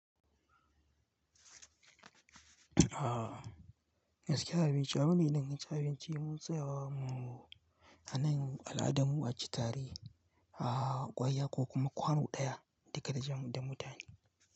Aaa, gaskiya abinci abu ne na danganci abinci do mun tsaya wa mu a nan al'adarmu a ci tare, aaaa ƙwarya ko kuma kwano ɗaya da ka da jam da mutane.